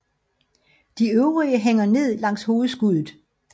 De øvrige hænger ned langs hovedskuddet